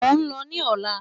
Mo n lọ ni ọla.